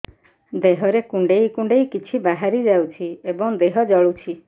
ଦେହରେ କୁଣ୍ଡେଇ କୁଣ୍ଡେଇ କିଛି ବାହାରି ଯାଉଛି ଏବଂ ଦେହ ଜଳୁଛି